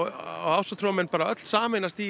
ásatrúarmenn öll sameinast í